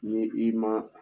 Ni i ma